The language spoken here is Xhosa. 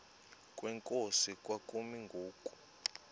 kwenkosi kwakumi ngoku